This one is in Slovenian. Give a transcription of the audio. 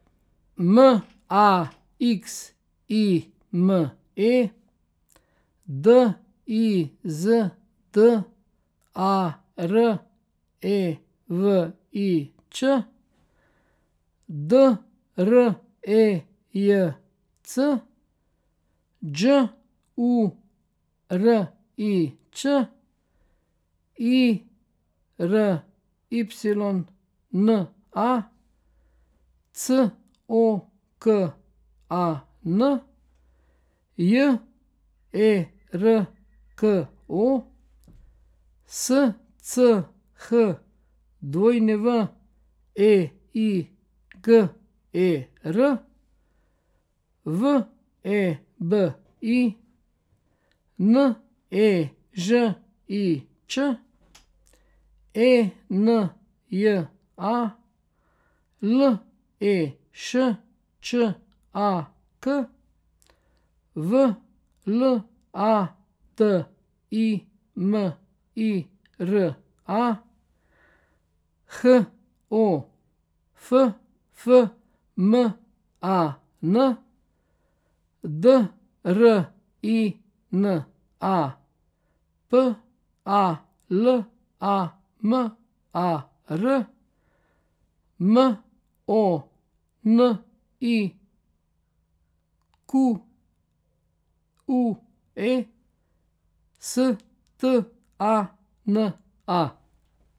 M A X I M E, D I Z D A R E V I Ć; D R E J C, Đ U R I Ć; I R Y N A, C O K A N; J E R K O, S C H W E I G E R; V E B I, N E Ž I Č; E N J A, L E Š Č A K; V L A T I M I R A, H O F F M A N; D R I N A, P A L A M A R; M O N I Q U E, S T A N A.